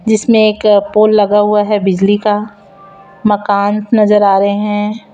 जिसमें एक पोल लगा हुआ है बिजली का मकान नजर आ रहे हैं।